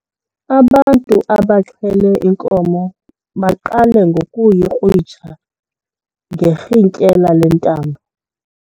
Ubantu abaxhele inkomo baqale ngokuyikrwitsha ngerhintyela lentambo.